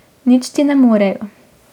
Nič ti ne morejo.